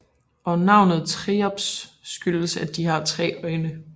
Og navnet triops skyldes at de har 3 øjne